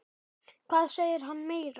Hvað segir hann meira?